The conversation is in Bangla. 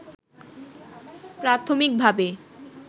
প্রাথমিকভাবে